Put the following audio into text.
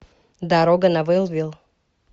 дорога на вэлвилл